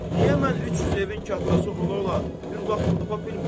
Niyə mən 300 evin kattası ola-ola bir yolu tapa bilmirəm?